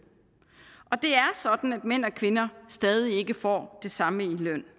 og det er sådan at mænd og kvinder stadig ikke får det samme i løn